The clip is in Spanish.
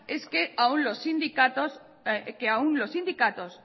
es que aún los sindicatos